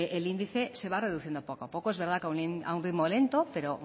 el índice se va reduciendo poco a poco es verdad que a un ritmo lento pero